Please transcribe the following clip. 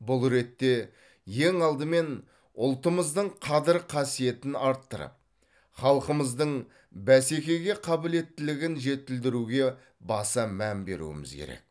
бұл ретте ең алдымен ұлтымыздың қадір қасиетін арттырып халқымыздың бәсекеге қабілеттілігін жетілдіруге баса мән беруіміз керек